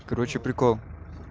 короче прикол